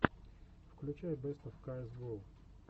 включай бэст оф каэс гоу